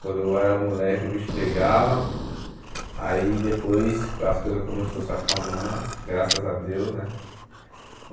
Quando eu era moleque o bicho pegava, aí depois as coisas começaram a se acalmar, graças a Deus, né?